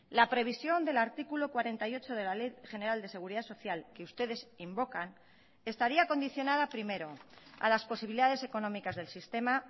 la previsión del artículo cuarenta y ocho de la ley general de seguridad social que ustedes invocan estaría condicionada primero a las posibilidades económicas del sistema